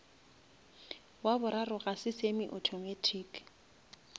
wa boraro ga se semi-automatic